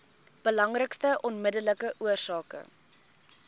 belangrikste onmiddellike oorsake